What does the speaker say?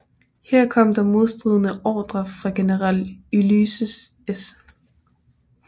Her kom der modstridende ordrer fra General Ulysses S